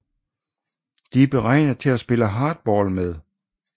De er beregnet til at spille hardball med